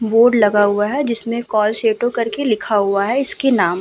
Board लगा हुआ है जिसमे काल सेतु करके लिखा हुआ है। इसके नाम --